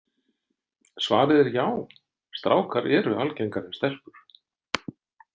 Svarið er já, strákar eru algengari en stelpur.